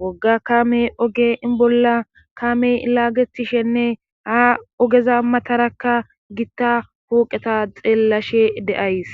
wogga kaame oge in bolla kaame ilaagetishenne haa ogeza matarakka gitta huuqeta xeellashe de7ays